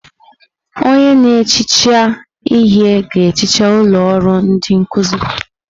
Onye na-ehicha ihe ga-ehicha ụlọ ọrụ ndi nkuzi.